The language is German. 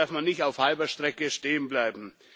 Hier darf man nicht auf halber Strecke stehen bleiben.